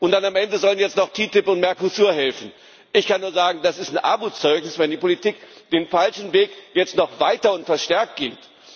Und am Ende sollen dann jetzt noch die TTIP und der Mercosur helfen. Ich kann nur sagen Das ist ein Armutszeugnis, wenn die Politik den falschen Weg jetzt noch weiter und verstärkt geht.